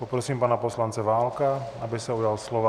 Poprosím pana poslance Válka, aby se ujal slova.